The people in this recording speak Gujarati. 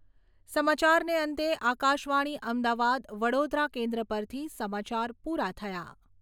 સમાચારને અંતે આકાશવાણી અમદાવાદ વડોદરા કેન્દ્ર પરથી સમાચાર પૂરા થયા